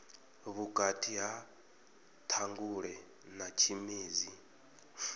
vhukati ha ṱhangule na tshimedzi